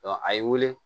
a y'i wele